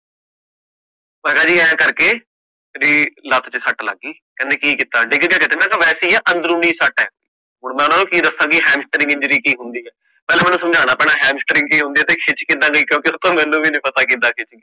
ਮੈਂ ਕਹ ਜੀ ਐ ਕਰਕੇ ਵੀ ਲੱਤ ਚ ਸੱਟ ਲੱਗ ਗਈ, ਕਹਿੰਦੇ ਕਿ ਕੀਤਾ ਡਿੱਗ ਗਯਾ ਕੀਤੇ, ਮੈਂ ਕਹਿ ਨਹੀਂ ਜੀ ਵਾਸੇ ਹੀ ਆ ਅੰਦਰੂਨੀ ਸੱਟ ਹੈ, ਹੁਣ ਮਈ ਓਹਨਾ ਨੂੰ ਕਿ ਦਸਾ ਕਿ hamster injury ਕਿ ਹੁੰਦੀ ਐ, ਪਹਿਲਾ ਮੈਨੂੰ ਸਮਝਣਾ ਪੈਣਾ ਬੀ ਕਿ ਹੁੰਦੀ ਆ ਤੇ ਖਿੱਚ ਕਿਦਾਂ ਗਈ ਕਿਉਕਿ ਮੈਨੂੰ ਵੀ ਨੀ ਪਤਾ ਖਿੱਚ ਕਿਦਾਂ ਗਈ